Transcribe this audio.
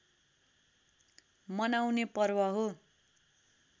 मनाउने पर्व हो